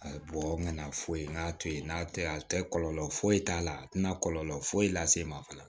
A ye bɔ n kana foyi to yen n'a tɛ a tɛ kɔlɔlɔ foyi t'a la a tɛna kɔlɔlɔ foyi lase i ma fana